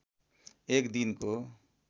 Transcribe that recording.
एक दिनको